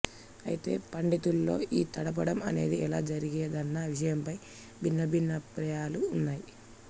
అయితే పండితుల్లో ఈ తడపడం అనేది ఎలా జరిగేదన్న విషయంపై భిన్నాభిప్రాయాలు ఉన్నాయి